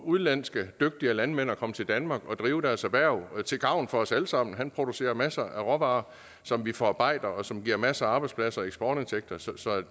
udenlandske landmænd med at komme til danmark og drive deres erhverv til gavn for os alle sammen han producerer masser af råvarer som vi forarbejder og som giver masser af arbejdspladser og eksportindtægter så